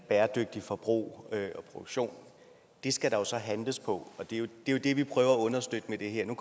bæredygtig forbrug og produktion det skal der jo så handles på og det er jo det vi prøver at understøtte med det her nu